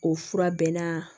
O fura bɛɛ na